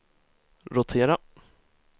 rotera